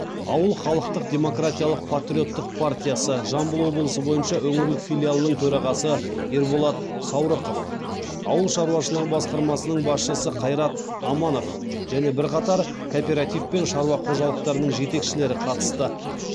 ауыл халықтық демократиялық патриоттық партиясы жамбыл облысы бойынша өңірлік филиалының төрағасы ерболат саурықов ауыл шаруашылығы басқармасының басшысы қайрат аманов және бірқатар кооператив пен шаруа қожалықтарының жетекшілері қатысты